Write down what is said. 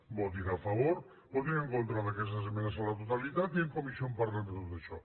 votin a favor votin en contra d’aquestes esmenes a la totalitat i en comissió en parlem de tot això